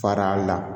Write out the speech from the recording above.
Fara la